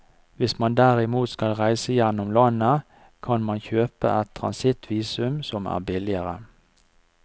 Hvis man derimot skal reise gjennom landet, kan man kjøpe et transittvisum som er billigere.